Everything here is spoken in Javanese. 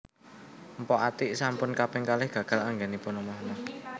Mpok Atiek sampun kaping kalih gagal anggenipun omah omah